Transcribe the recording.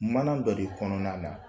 Mana dɔ de kɔnɔna la